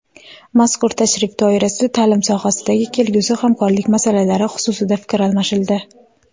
Mazkur tashrif doirasida ta’lim sohasidagi kelgusi hamkorlik masalalari xususida fikr almashildi.